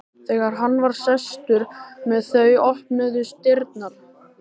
Þegar hann var sestur með þau opnuðust dyrnar.